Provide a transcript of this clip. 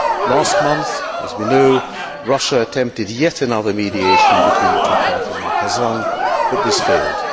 Last month, as we know, Russia attempted yet another mediation between the two parties in Kazan but this failed.